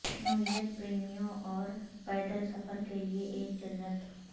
نوعیت پریمیوں اور پیدل سفر کے لئے ایک جنت